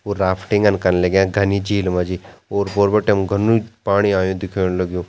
वो राफ्टिंगन कन लग्यां घनी झील मा जी ओर पोर बटिन घुनु पाणी आयुं दिख्येंण लग्युं।